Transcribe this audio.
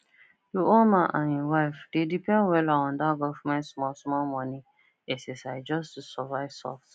the old man and him wife dey depend wella on that government smallsmall money ssi just to survive soft